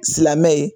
Silamɛ ye